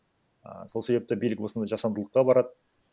ііі сол себепті билік осындай жасандылыққа барады